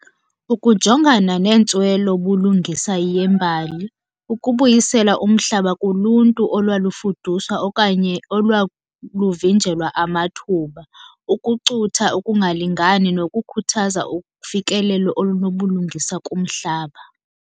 Ukujongana neentswelo bulungisa yembali, ukubuyisela umhlaba kuluntu olwalufuduswa okanye olwaluvinjelwa amathuba, ukucutha ukungalingani nokukhuthaza ufikelelo olunobulungisa kumhlaba.